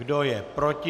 Kdo je proti?